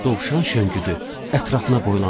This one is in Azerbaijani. Dovşan şönküdü, ətrafına boylandı.